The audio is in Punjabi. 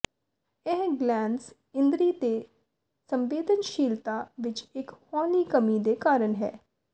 ਇਹ ਗਲੈਨਜ਼ ਇੰਦਰੀ ਦੇ ਸੰਵੇਦਨਸ਼ੀਲਤਾ ਵਿੱਚ ਇੱਕ ਹੌਲੀ ਕਮੀ ਦੇ ਕਾਰਨ ਹੈ